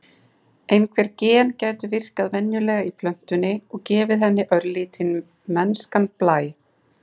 Einhver gen gætu virkað venjulega í plöntunni, og gefið henni örlítinn mennskan blæ.